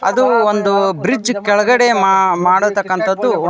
ಅದು ಒಂದು ಬ್ರಿಡ್ಜ್ ಕೆಳಗಡೆ ಮಾ ಮಾಡತಕ್ಕಂತದ್ದು.